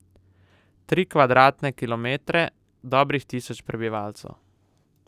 Tri kvadratne kilometre, dobrih tisoč prebivalcev.